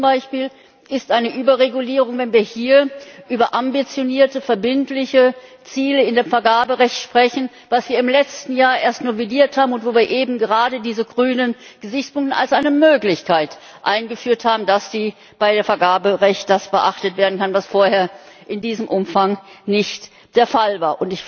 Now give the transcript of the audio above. Für mich zum Beispiel ist eine Überregulierung, wenn wir hier über ambitionierte, verbindliche Ziele im Vergaberecht sprechen, das wir im letzten Jahr erst novelliert haben und wo wir eben gerade diese grünen Gesichtspunkte als eine Möglichkeit eingeführt haben, dass beim Vergaberecht das beachtet werden kann, was vorher in diesem Umfang nicht der Fall war.